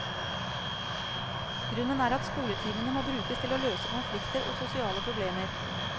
Grunnen er at skoletimene må brukes til å løse konflikter og sosiale problemer.